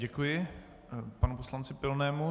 Děkuji panu poslanci Pilnému.